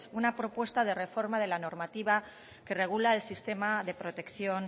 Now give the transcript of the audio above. una propuesta de reforma de la normativa que regula el sistema de protección